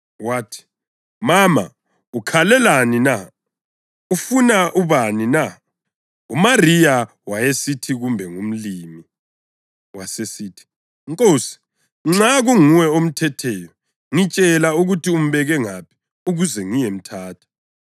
Wathi, “Mama, ukhalelani na? Ufuna ubani na?” UMariya wayesithi kumbe ngumlimi, wasesithi, “Nkosi, nxa kunguwe omthetheyo, ngitshela ukuthi umbeke ngaphi ukuze ngiyemthatha.”